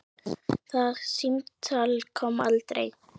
Það símtal kom aldrei.